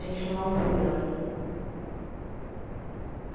A gente não é um número ali.